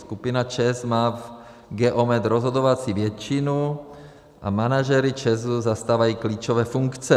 Skupina ČEZ má v Geometu rozhodovací většinu a manažeři ČEZu zastávají klíčové funkce.